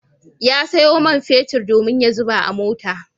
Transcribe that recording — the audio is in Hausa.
Ya sayo man fetur domin ya zuba a mota.